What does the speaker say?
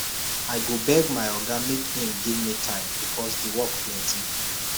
i go beg my oga make im give me time because di work plenty